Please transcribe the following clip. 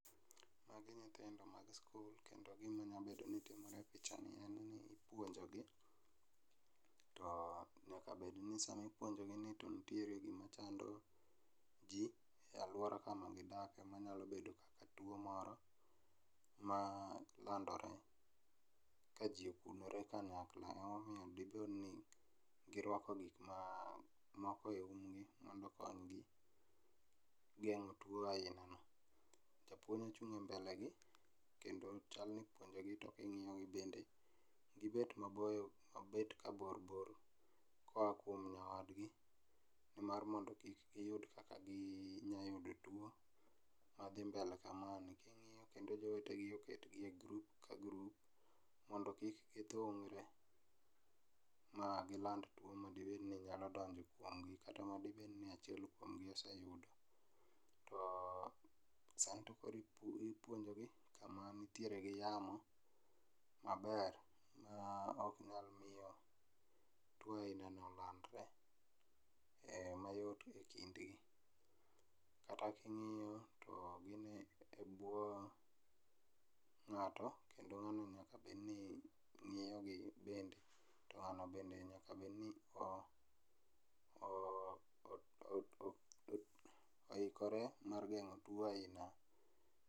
Magi nyithindo mag sikul kendo gima nyalo bedo ni timore epichani chal ni ipuonjogi. To nyaka bed ni sama ipuonjogini to nitiere gima chando ji e aluora kama gidakie manyalo bedo kaka tuo moro ma landore kaji okunore kanyakla ema omiyo bedoni girwako gik ma moko eumgi mondo okonygi geng'o tuo ainano. Japuonj ochung' e mbelegi kendo chalni ipuonjogi to ging'iyo bende gibet maboyo mabet ka boyo boyo koa kuom nyawadgi mar mondo kik giyud kaka ginyalo yudo tuo madhi mbele kemani. King'iyo kendo jowetegi nie grup ka grup mondo kik gidhungre ma giland tuo madibed ni nyalo donjo kuomgi kata madibed ni achiel kuomgi oseyudo. To sani to koro ipuonjogi kama nitiere gi yamo maber maok nyal miyo tuo ainano landre e mayot ekindgi kata king'iyo to gin e bwo ng'ato kendo ng'ano be nyaka bed ni ng'iyo gi bende to ng'ano bende nyaka bedni oikore oo oikore mar geng'o tuo ainani.